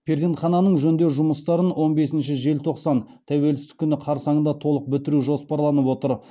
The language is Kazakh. перзентхананың жөндеу жұмыстарын он бесінші желтоқсан тәуелсіздік күні қарсаңында толық бітіру жоспарланып отыр